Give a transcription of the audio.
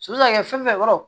So kan ka kɛ fɛn fɛn kɔnɔ